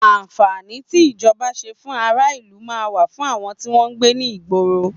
àǹfàní tí ìjọba nṣe fún ará ìlú man wà fún àwọn tí wọn gbé ní ìgboro ìlú